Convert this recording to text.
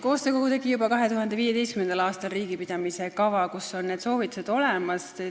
Koostöökogu tegi juba 2015. aastal riigipidamise kava, kus on need soovitused olemas.